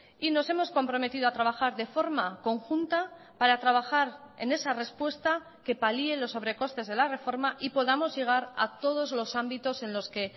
y nos hemos comprometido a trabajar de forma conjunta para trabajar en esa respuesta que palie los sobrecostes de la reforma y podamos llegar a todos los ámbitos en los que